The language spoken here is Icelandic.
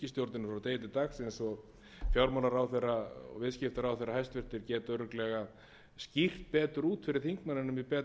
hæstvirtur fjármálaráðherra og viðskiptaráðherra geta örugglega skýrt betur út fyrir þingmanninum í betra tómi